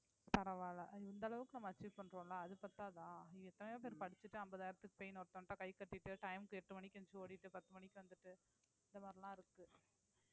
பரவாயில்லை இந்த அளவுக்கு நம்ம achieve பண்றோம்ல அது பத்தாதா எத்தனையோ பேர் படிச்சுட்டு ஐம்பதாயிரத்துக்கு போய் இன்னொருத்தன்ட்ட கை கட்டிட்டு time க்கு எட்டு மணிக்கு எந்திரிச்சு ஓடிட்டு பத்து மணிக்கு வந்துட்டு அந்தமாறிலாம் இருக்கு